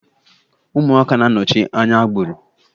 Ụmụaka na-anọchi anya agbụrụ.